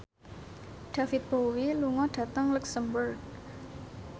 David Bowie lunga dhateng luxemburg